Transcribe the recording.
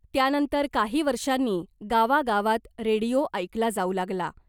त्यानंतर काही वर्षांनी गावागावात रेडिओ ऐकला जाऊ लागला .